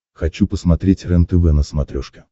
хочу посмотреть рентв на смотрешке